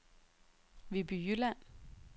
Viby Jylland